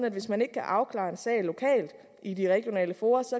at hvis man ikke kan afklare en sag lokalt i de regionale fora